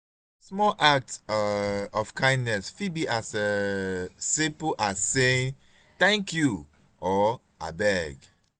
um small acts um of kindness fit be as um simple as saying 'thank you' or 'abeg'.